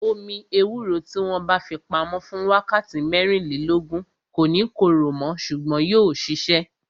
Omi ewúro tí wọn bá fi pamo fún wákàtí mẹ́rìnlélógún, kò ní korò mo ṣùgbọ́n yóò sisẹ